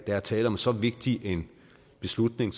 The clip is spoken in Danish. er tale om så vigtig en beslutning